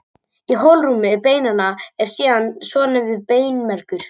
Í holrúmi beinanna er síðan svonefndur beinmergur.